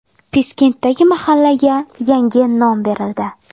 Piskentdagi mahallaga yangi nom berildi.